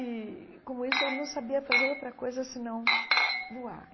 E, como isso, ele não sabia fazer outra coisa senão voar.